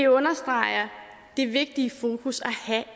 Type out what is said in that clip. understreger det vigtige fokus